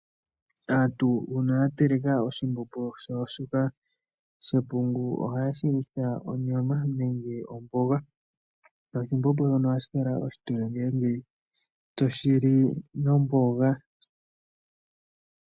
Aantu uuna ya teleka oshimbombo shawo shoka shepungu ohaye shi litha onyama nenge omboga. Ngaashi oshimbombo shono ohashi kala oshitoye ngele toshi li nomboga.